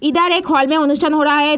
इधर एक हॉल में अनुष्ठान हो रहा है।